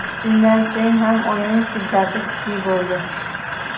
Shundan so‘ng ham o‘yin shiddati kuchli bo‘ldi.